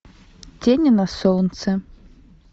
тени на солнце